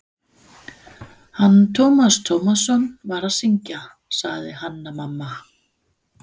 Hann Tómas Tómasson var að syngja, sagði Hanna-Mamma.